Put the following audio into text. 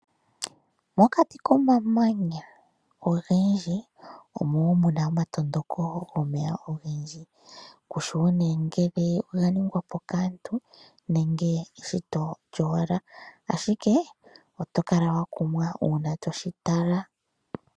Mokati komamanya ogendji omo wo muna oma tondoko gomeya ogendji kushiwo nengele oga ningwapo kaantu nenge eshi to owala ashike oto kala wa kumwa uuna toshitala.